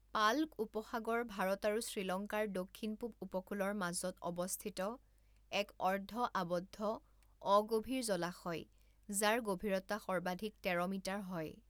পাল্ক উপসাগৰ ভাৰত আৰু শ্ৰীলংকাৰ দক্ষিণ পূব উপকূলৰ মাজত অৱস্থিত এক অৰ্ধ আবদ্ধ অগভীৰ জলাশয় যাৰ গভীৰতা সৰ্বাধিক তেৰ মিটাৰ হয়।